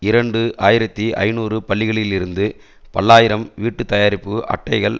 இரண்டு ஆயிரத்தி ஐநூறு பள்ளிகளிலிருந்து பல்லாயிரம் வீட்டுத்தயாரிப்பு அட்டைகள்